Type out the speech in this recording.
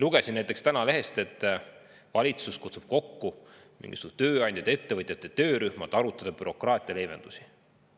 Lugesin täna lehest, et valitsus kutsub kokku mingisuguse tööandjate ja ettevõtjate töörühma, et arutada bürokraatia leevendusi.